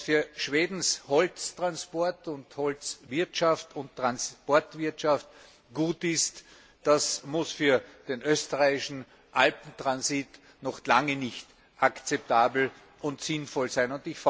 Was für Schwedens Holztransport und Holzwirtschaft und Transportwirtschaft gut ist, das muss für den österreichischen Alpentransit noch lange nicht akzeptabel und sinnvoll sein.